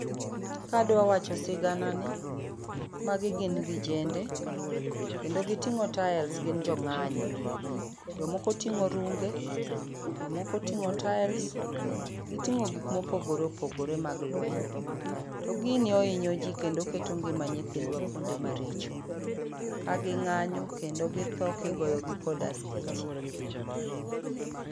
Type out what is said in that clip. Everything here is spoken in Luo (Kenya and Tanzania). Kadwa wacho sigana ni, magi gin vijende, kendo giting'o tails, gin jo ng'anyo. Jokomo oting'o runge, jokomo oting'o tails. Giting'o gik mopogore opogore mag lweny. To gini ohinyo ji kendo oketo ngima nyithindwa kuonde maricho. Ka gi ng'anyo kendo githo kigoyo gi kod askeche.